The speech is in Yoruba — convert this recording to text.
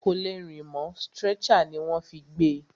Kò lè rìn mọ́, stretcher ní wọ́n fí gbé e.